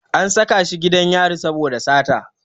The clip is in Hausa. An saka shi gidan yari saboda sata.